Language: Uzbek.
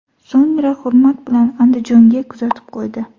So‘ngra hurmat bilan Andijonga kuzatib qo‘ydi.